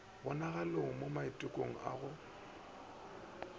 e bonagalogo mo maitekelong a